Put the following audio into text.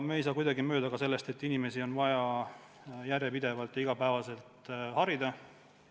Me ei saa kuidagi mööda ka sellest, et inimesi on vaja järjepidevalt, iga päev jäätmeteemadel harida.